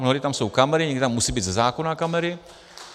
Mnohdy tam jsou kamery, někdy tam musí být ze zákona kamery.